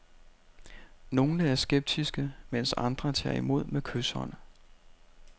Nogle er skeptiske, mens andre tager imod med kyshånd.